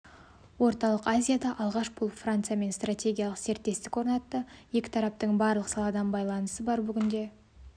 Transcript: орталық азияда алғаш болып франциямен стратегиялық серіктестік орнатты екі тараптың барлық саладан байланысы бар бүгінде